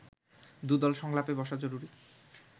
দুদল সংলাপে বসা জরুরি